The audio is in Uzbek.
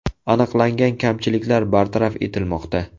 Aniqlangan kamchiliklar bartaraf etilmoqda.